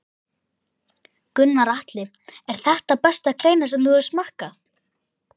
Gunnar Atli: Er þetta besta kleina sem þú hefur smakkað?